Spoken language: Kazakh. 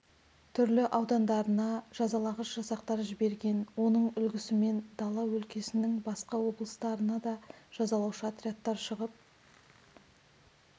түрлі аудандарына жазалағыш жасақтар жіберген оның үлгісімен дала өлкесінің басқа облыстарына да жазалаушы отрядтар шығып